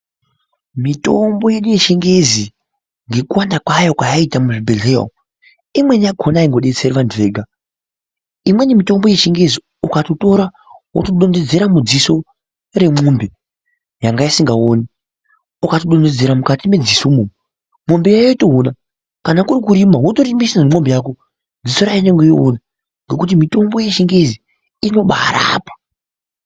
Mitombo yedu yechingezi ngekuwanda kwayo kwayaita muzvibhehleya imweni yakona aingodetseri vantu vega imweni mitombo yechingezi ukatotira wotodonhedzera remwombe yanga isikaoni ukadonhedzera mukati medziso imwomwo mwombeyo yotoona kana kuri kurimisa wotorimisa ngemwombe yako dziso rayo rotoona ngekuti mitombo yechingezi inobairapa .